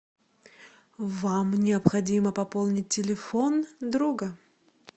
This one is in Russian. вам необходимо пополнить телефон друга